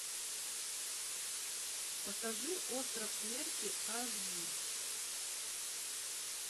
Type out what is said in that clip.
покажи остров смерти аш ди